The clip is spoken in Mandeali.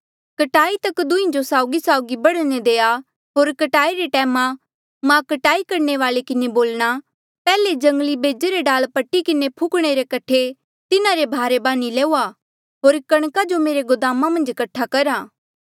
कटाई तक दुंहीं जो साउगीसाउगी बढ़ने देआ होर कटाई रे टैमा मां कटाई करणे वाल्ऐ किन्हें बोलणा पैहले जंगली बेजे रे डाल पट्टी किन्हें फुकणे रे कठे तिन्हारे भारे बान्ही लऊआ होर कणका जो मेरे गोदामा मन्झ कठा करा